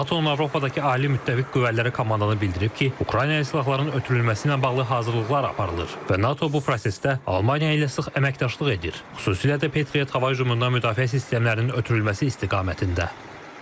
NATO-nun Avropadakı ali müttəfiq qüvvələri komandanı bildirib ki, Ukraynaya silahların ötürülməsi ilə bağlı hazırlıqlar aparılır və NATO bu prosesdə Almaniya ilə sıx əməkdaşlıq edir, xüsusilə də Patriot hava hücumundan müdafiə sistemlərinin ötürülməsi istiqamətində.